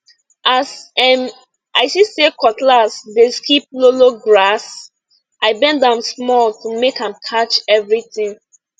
as um i see say cutlass dey skip lowlow grass i bend am small to make am catch everything